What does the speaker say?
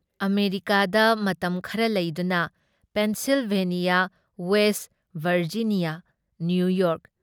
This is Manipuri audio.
ꯑꯃꯦꯔꯤꯀꯥꯗ ꯃꯇꯝ ꯈꯔ ꯂꯩꯗꯨꯅ ꯄꯦꯟꯁꯤꯜꯚꯦꯅꯤꯌꯥ ꯋꯦꯁꯠ ꯚꯔꯖꯤꯅꯤꯌꯥ, ꯅꯤꯌꯨꯌꯣꯔꯛ,